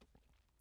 TV 2